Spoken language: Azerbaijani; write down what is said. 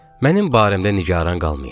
mənim barəmdə nigaran qalmayın.